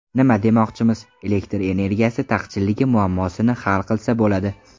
Nima demoqchimiz: elektr energiyasi taqchilligi muammosini hal qilsa bo‘ladi.